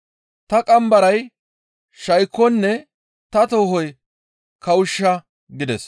Ta qambaray shaykonne ta toohoy kawushsha» gides.